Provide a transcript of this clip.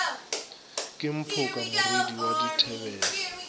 ke mphoka morwadi wa dithebele